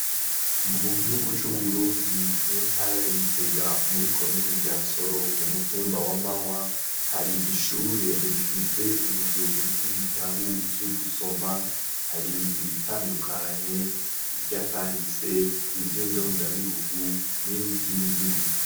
mu gihugu c'uburundi mu ntara ya gitega muri komine ryansoro umukumba wa mawa hari ishure bifise inzu y'ibitabu by'ugusoma hari ibitandukanye ibyakahise iby'indondabihugu nivy'indimi